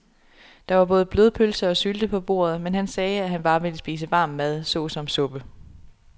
Der var både blodpølse og sylte på bordet, men han sagde, at han bare ville spise varm mad såsom suppe.